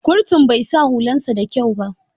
Kurtun bai sa hulan sa da kyau ba.